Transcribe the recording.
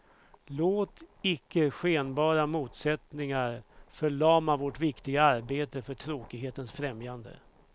Låt icke skenbara motsättningar förlama vårt viktiga arbete för tråkighetens främjande.